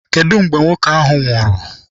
Kedụ mgbe nwoke ahụ nwụrụ?